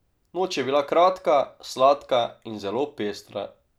Noč je bila kratka, sladka in zelo pestra.